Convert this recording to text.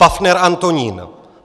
Paffner Antonín